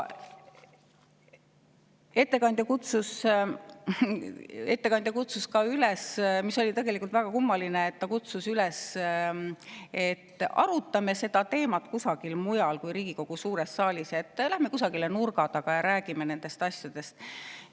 Ettekandja kutsus üles – see oli tegelikult väga kummaline –, et arutame seda teemat kusagil mujal kui Riigikogu suures saalis, et läheme kusagile nurga taha ja räägime nendest asjadest.